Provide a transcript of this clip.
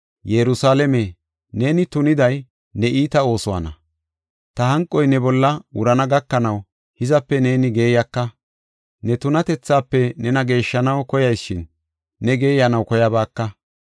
Yerusalaame, nene tuniday ne iita oosuwana. Ta hanqoy ne bolla wurana gakanaw hizape neeni geeyaka. Ne tunatethafe nena geeshshanaw koyas shin, ne geeyanaw koyabaaka.